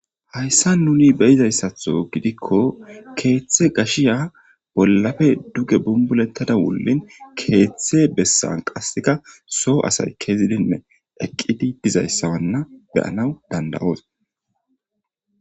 hayssa nuni beyizayssatho gidikko keeththe gashiya bollafe duge bumbulettada wullin keeththe bessan qasseka soo asay kezidinne eqqidi dizayssawanna beyanaw danda7oos